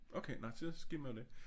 Okay nej så skimmer det